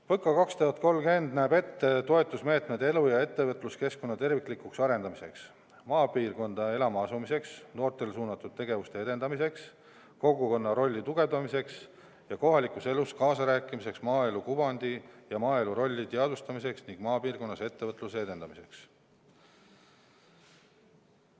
PõKa 2030 näeb ette toetusmeetmed elu- ja ettevõtluskeskkonna terviklikuks arendamiseks, maapiirkonda elama asumiseks, noortele suunatud tegevuste edendamiseks, kogukonna rolli tugevdamiseks ja kohalikus elus kaasarääkimiseks, maaelu kuvandi ja maaelu rolli teadvustamiseks ning maapiirkonnas ettevõtluse edendamiseks.